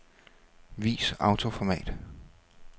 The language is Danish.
Vis autoformat.